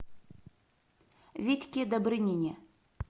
витьке добрынине